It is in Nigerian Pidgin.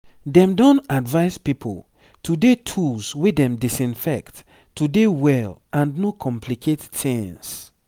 dem don advise pipo to dey tools wey dem disinfect to dey well and no complicate tings